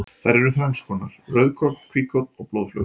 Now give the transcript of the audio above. Þær eru þrennskonar, rauðkorn, hvítkorn og blóðflögur.